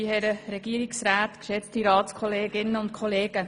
Kommissionspräsidentin der JuKo.